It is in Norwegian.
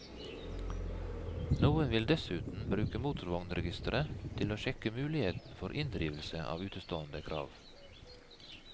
Noen vil dessuten bruke motorvognregisteret til å sjekke muligheten for inndrivelse av utestående krav.